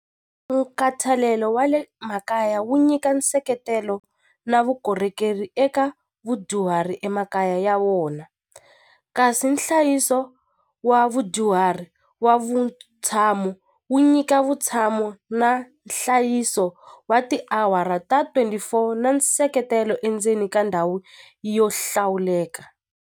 Nkhathalelo wa le makaya wu nyika nseketelo na vukorhokeri eka vudyuhari emakaya ya vona kasi nhlayiso wa vudyuhari wa vutshamo wu nyika vutshamo na nhlayiso wa tiawara ta twenty-four na nseketelo endzeni ka ndhawu yo hlawuleka.